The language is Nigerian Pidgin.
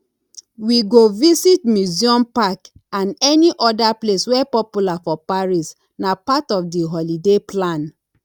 we go visit museum park and any other place wey popular for paris nah part of di holiday plan